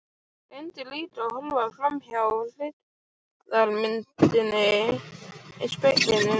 Reyndi líka að horfa framhjá hryggðarmyndinni í speglinum.